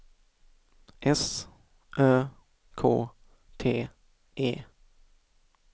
S Ö K T E